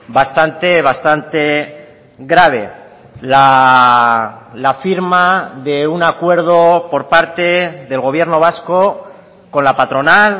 bastante bastante grave la firma de un acuerdo por parte del gobierno vasco con la patronal